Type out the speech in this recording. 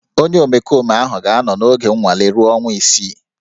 Onye omekome ahụ ga-anọ n'oge nnwale ruo ọnwa isii